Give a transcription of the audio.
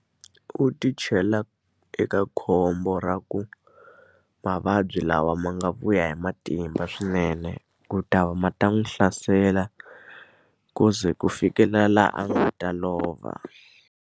U ti chela eka khombo ra ku mavabyi lawa ma nga vuya hi matimba swinene, ku ta ma ta n'wi hlasela ku ze ku fikela laha a nga ta lova.